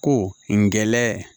Ko n gɛlɛn